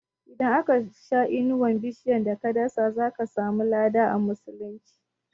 Idan aka sha inuwar bishiyar da ka dasa, zaka samu lada a musulunci